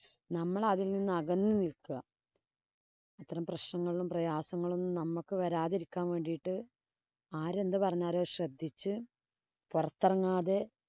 നമ്മള്‍ അതില്‍ നിന്നും അകന്നു നില്‍ക്കുക. അത്തരം പ്രശ്നങ്ങളും, പ്രയാസങ്ങളും ഒന്നും നമ്മക്ക് വരാതിരിക്കാന്‍ വേണ്ടീട്ട് ആരെന്തു പറഞ്ഞാലും അത് ശ്രദ്ധിച്ച് പൊറത്തിറങ്ങാതെ